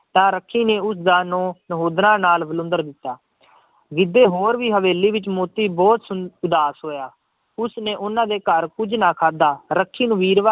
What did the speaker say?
ਤਾਂ ਰੱਖੀ ਨੇ ਉਸਦਾ ਨਹੁੰ ਨਹੁੰਦਰਾਂ ਨਾਲ ਵਿਲੁੰਦਰ ਦਿੱਤਾ, ਗਿੱਧੇ ਹੋਰ ਦੀ ਹਵੇਲੀ ਵਿੱਚ ਮੋਤੀ ਬਹੁਤ ਸ ਉਦਾਸ ਹੋਇਆ, ਉਸਨੇ ਉਹਨਾਂ ਦੇ ਘਰ ਕੁੱਝ ਨਾ ਖਾਧਾ, ਰੱਖੀ ਨੀ ਵੀਰਵਾ